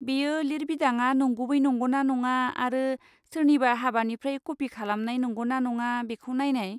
बेयो लिरबिदाङा नंगुबै नंगौना नङा आरो सोरनिबा हाबानिफ्राय कपि खालामनाय नंगौना नङा बेखौ नायनाय।